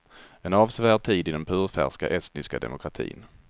En avsevärd tid i den purfärska estniska demokratin.